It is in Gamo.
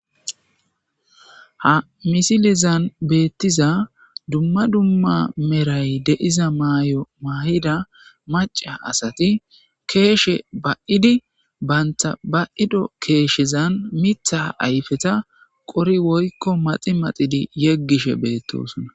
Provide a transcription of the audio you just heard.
ha misilezan beettiza dumma dumma meray de'iza maayo maayida maca asati keeshe ba'idi baynta ba'ido keeshezan mitha ayfeta qori woykko maxi maxidi yeggishe beettosona